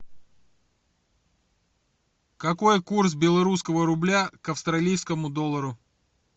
какой курс белорусского рубля к австралийскому доллару